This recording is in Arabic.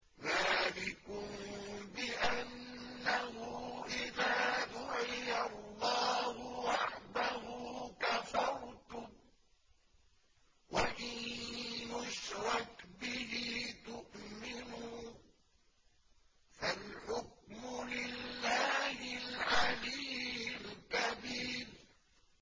ذَٰلِكُم بِأَنَّهُ إِذَا دُعِيَ اللَّهُ وَحْدَهُ كَفَرْتُمْ ۖ وَإِن يُشْرَكْ بِهِ تُؤْمِنُوا ۚ فَالْحُكْمُ لِلَّهِ الْعَلِيِّ الْكَبِيرِ